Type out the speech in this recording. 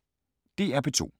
DR P2